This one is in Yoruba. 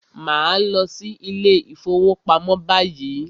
Màá lọ sí ilé ìfọwọ́pamo báyìí!